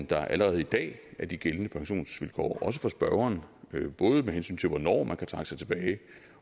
der allerede i dag er de gældende pensionsvilkår også for spørgeren både med hensyn til hvornår man kan trække sig tilbage